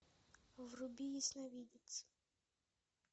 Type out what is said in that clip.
вруби ясновидец